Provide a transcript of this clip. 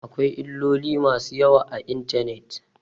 Akwai illoli masu yawa a intanet.